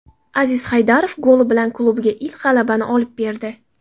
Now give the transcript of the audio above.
Aziz Haydarov goli bilan klubiga ilk g‘alabani olib berdi.